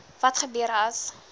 wat gebeur as